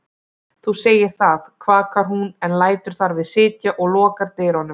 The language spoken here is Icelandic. Þú segir það, kvakar hún en lætur þar við sitja og lokar dyrunum.